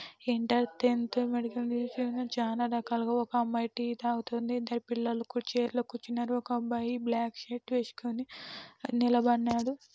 Inter tenth medical museum చానా రకాలుగా ఒక అమ్మాయి టీ తాగుతోంది. ఇద్దరు పిల్లలు కు చైర్ లో కూర్చున్నారు. ఒక అబ్బాయి బ్లాక్ షర్ట్ వేసుకొని నిలబడినాడు.